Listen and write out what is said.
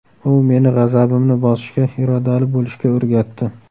U meni g‘azabimni bosishga, irodali bo‘lishga o‘rgatdi.